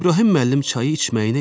İbrahim müəllim çayı içməyinə içdi.